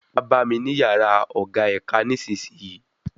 Wá bá mi ní yàrá ọ̀gá ẹ̀ka nísisìyìí